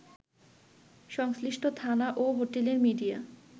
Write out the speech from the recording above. সংশ্লিষ্ট থানা ও হোটেলের মিডিয়া